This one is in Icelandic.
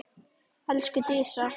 Elsku Dísa.